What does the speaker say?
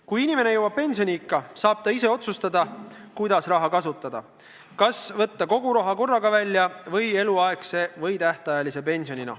Kui inimene jõuab pensioniikka, saab ta ise otsustada, kuidas raha kasutada, kas võtta kogu raha välja korraga või eluaegse või tähtajalise pensionina.